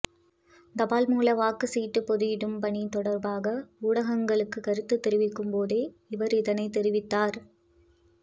தபால்மூல வாக்கு சீட்டு பொதியிடும் பணி தொடர்பாக ஊடகங்களுக்கு கருத்து தெரிவிக்கும் போதே அவர் இதனை தெரிவித்தார்